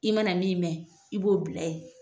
I mana min mɛn i b'o bila yen